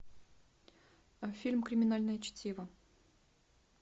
фильм криминальное чтиво